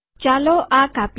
ચાલો આ કાપીએ